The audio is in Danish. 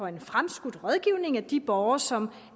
en fremskudt rådgivning af de borgere som